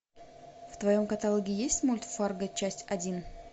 в твоем каталоге есть мульт фарго часть один